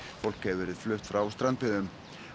fólk hefur verið flutt frá strandbyggðum